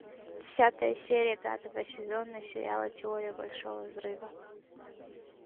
десятая серия пятого сезона сериала теория большого взрыва